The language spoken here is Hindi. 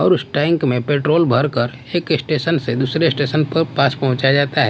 और उस टैंक में पेट्रोल भरकर एक स्टेशन से दूसरे स्टेशन पर पास पहुंचाया जाता है।